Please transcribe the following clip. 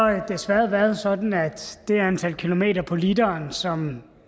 desværre sådan at det antal kilometer på literen som